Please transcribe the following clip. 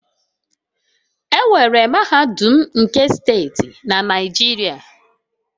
Enwere mahadum nke steeti na Naijiria